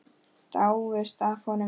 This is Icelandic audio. Dáist að honum.